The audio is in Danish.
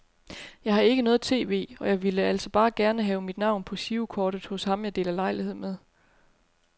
Jeg har ikke noget tv, og jeg ville altså bare gerne have mit navn på girokortet hos ham jeg deler lejlighed med.